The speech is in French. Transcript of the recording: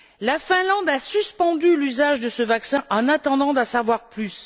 La Finlande a suspendu l'usage de ce vaccin en attendant d'en savoir plus.